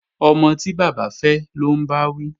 Ọmọ tí bàbá fẹ́ lọ́ ń bá wí